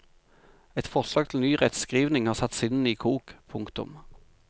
Et forslag til ny rettskrivning har satt sinnene i kok. punktum